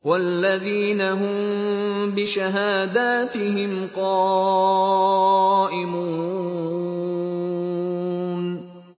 وَالَّذِينَ هُم بِشَهَادَاتِهِمْ قَائِمُونَ